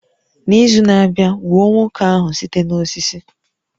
N'izu na-abịa, gbuo nwoke ahụ site n'osisi